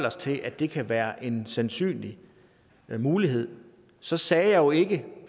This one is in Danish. os til at det kan være en sandsynlig mulighed så sagde jeg jo ikke